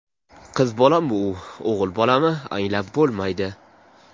Qiz bolami u, o‘g‘il bolami anglab bo‘lmaydi.